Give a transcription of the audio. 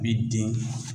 I bi den